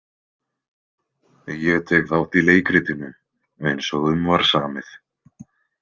Ég tek þátt í leikritinu eins og um var samið.